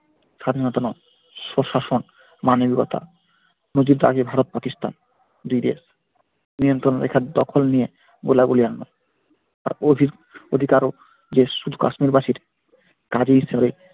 স্বাধীনতা স্ব-শাসন মানবিকতা নদীর পাড়ে ভারত-পাকিস্তান দুই দেশ নিয়ন্ত্রণ রেখার দখল নিয়ে গোলাগুলি আর নয় আর ওদিকে আরো যে শুধু কাশ্মীরবাসীর কাজের জোরে